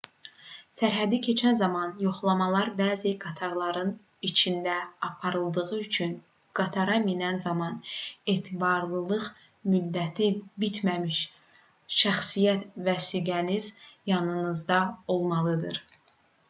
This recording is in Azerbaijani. sərhədi keçən zaman yoxlamalar bəzi qatarların içində aparıldığı üçün qatara minən zaman etibarlılıq müddəti bitməmiş şəxsiyyət vəsiqəniz yanınızda olmalıdır